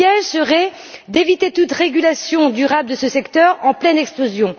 Le piège serait d'éviter toute régulation durable de ce secteur en pleine expansion.